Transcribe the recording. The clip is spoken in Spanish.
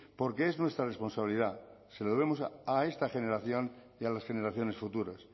porque es nuestra responsabilidad se lo debemos a esta generación y a las generaciones futuras